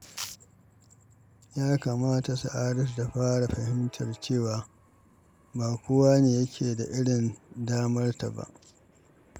Ya kamata Sa’adatu ta fara fahimtar cewa ba kowa ne yake da irin damarta ba.